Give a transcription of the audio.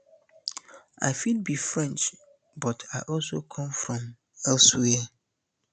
i fit be french but i also come from elsewhere